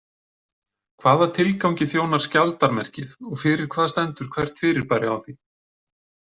Hvaða tilgangi þjónar skjaldarmerkið og fyrir hvað stendur hvert fyrirbæri á því?